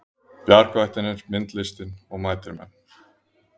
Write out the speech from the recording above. Bjargvættirnir myndlistin og mætir menn